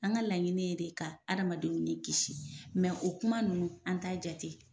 An ka laɲini ye de ka hadamadenw ni kisi o kuma ninnu an t'a jate.